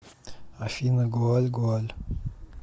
афина гоаль гоаль